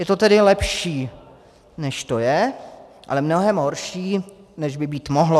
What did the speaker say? Je to tedy lepší, než to je, ale mnohem horší, než by být mohlo.